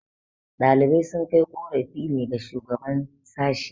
ɗalibai sun kai korafi ne ga shugaban sashi